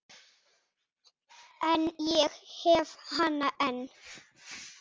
En ég hef hana enn.